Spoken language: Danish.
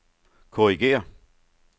korrigér